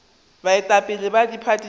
baetapele ba diphathi tše di